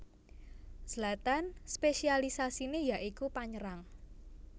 Zlatan spésialisasiné ya iku panyerang